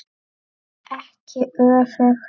Ekki öfugt.